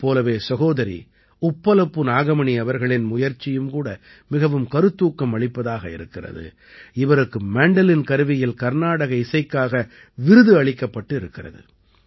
இதைப் போலவே சகோதரி உப்பலப்பு நாகமணி அவர்களின் முயற்சியும் கூட மிகவும் கருத்தூக்கம் அளிப்பதாக இருக்கிறது இவருக்கு மாண்டலின் கருவியில் கர்நாடக இசைக்காக விருது அளிக்கப்பட்டு இருக்கிறது